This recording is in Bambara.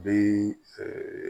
Bɛ